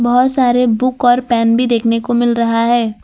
बहोत सारे बुक और पेन भी देखने को मिल रहा है।